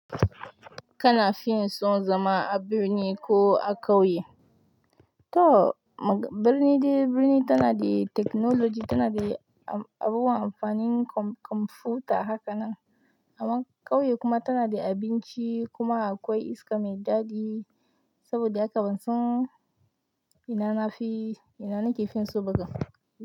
Kana fin so zama a birni ko a ƙauye? To birni dai birni tana da technology, tana da abubuwan amfanin kwamfuta haka nan. Amma ƙauye kuma tana da abinci kuma akwai iska mai daɗi saboda haka ban son ina na fi, ina na ke fin so kam.